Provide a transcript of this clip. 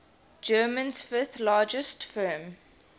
germany's fifth largest firm